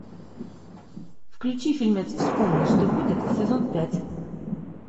включи фильмец вспомни что будет сезон пять